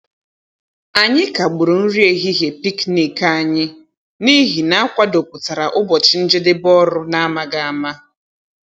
Anyị kagburu nri ehihie pịknịk ànyị n’ihi na a kwàdòpụtara ụbọchị njedebe ọrụ n’amaghị ama